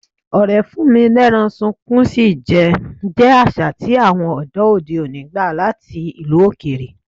Ọ̀rẹ́ fún-mi-lẹ́rán-sunkún-sí jẹ jẹ́ àṣà tí àwọn ọ̀dọ́ òde òní gbà láti ìlú òkèèrè.